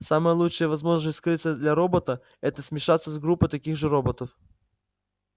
самая лучшая возможность скрыться для робота это смешаться с группой таких же роботов